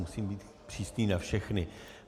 Musím být přísný na všechny.